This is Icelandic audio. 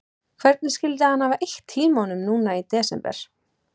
Hvernig skyldi hann hafa eytt tímanum núna í desember?